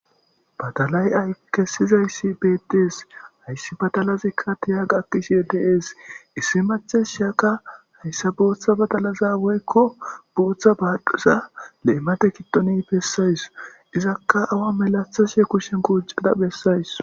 badalay ay kessizayssi bettees hayssi badalazikka tiya gaakkishe deees issi mathes shaka hayssa booththa badalaza woykko booththa baadhuza leemate kitoni bessays izakka awa melathashe kushen quuccada bessays